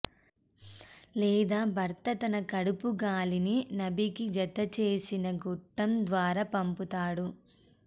లేదా భర్త తన కడుపు గాలిని నాభికి జతచేసిన గొట్టం ద్వారా పంపుతాడు